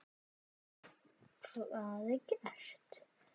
Hvað er gert?